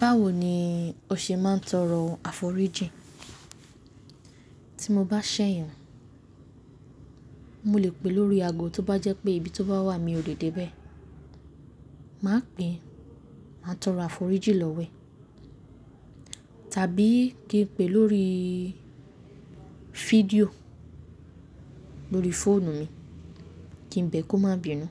Báwo ni o ṣe máa ń tọrọ àforíjìn? Tí mo bá ṣẹ̀yàn, mo lè pè lórí ago, tó bá jẹ́ pé ibi tó bá wà mi ò lè dé bẹ́ẹ̀, màá pè, màá tọrọ àforíjì lọ́wo ẹ̀. Tàbí kí n pè lórí fídíò lórí fóònù mi kí n bẹ́ kò má bínú.